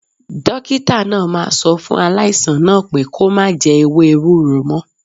Dókítà náà máa sọ fún aláìsàn náà pé kó má jẹ ewé ewúro mo